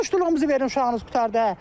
ki, muştuluğumuzu verin uşağınız qurtardı.